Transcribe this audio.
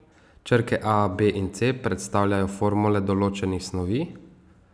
Črke A, B in C predstavljajo formule določenih snovi.